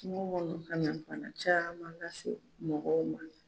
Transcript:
Kungo kɔnɔ ka na bana caman lase mɔgɔw ma.